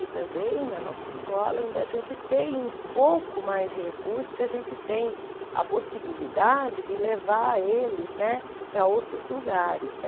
E também na nossa escola ainda a gente tem um pouco mais de recurso que a gente tem a possibilidade de levar eles, né, para outros lugares, né?